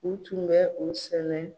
U tun bɛ u sɛnɛ